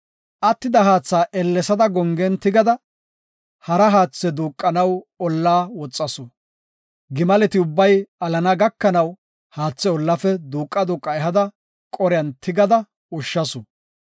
Attida haatha ellesada gongen tigada, hara haathe duuqanaw olla woxasu; gimaleti ubbay alana gakanaw, haatha ollafe duuqa duuqa ehada gongen tigada ushshasu.